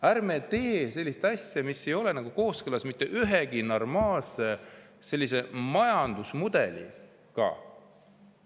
Ärme teeme sellist asja, mis ei ole kooskõlas mitte ühegi normaalse majandusmudeliga.